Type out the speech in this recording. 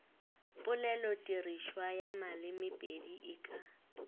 polelotirišwa ya malemepedi e ka